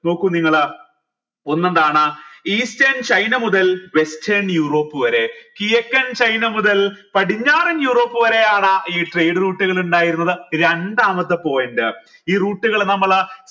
നോക്കൂ നിങ്ങൾ ഒന്നെന്താണ് eastern ചൈന മുതൽ weastern യൂറോപ്പ് വരെ കിഴക്കൻ ചൈന മുതൽ പടിഞ്ഞാറൻ യൂറോപ്പ് വരെയാണ് ഈ trade route ൽ ഇണ്ടായിരുന്നത് രണ്ടാമത്തെ point ഈ route കൾ നമ്മൾ